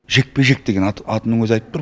жекпе жек деген атының өзі айтып тұр